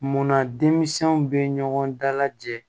Munna denmisɛnw bɛ ɲɔgɔn dalajɛ